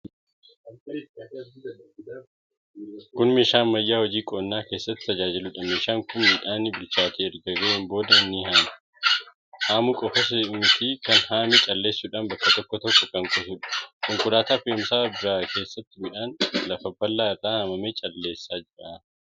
Kun meeshaa ammayyaa hojii qonnaa keessatti tajaajiluudha. Meeshaan kun midhaanni bilchaatee erga ga'ee booda ni haama. Haamuu qofas miti kan haame calleessuudhaan bakka tokko kan kuusuudha. Konkolaataa fe'umsaa biraa keessatti midhaan lafa bal'aa irraa haamee calleessaa jira.